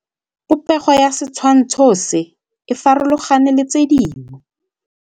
Popêgo ya setshwantshô se, e farologane le tse dingwe.